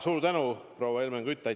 Suur tänu, proua Helmen Kütt!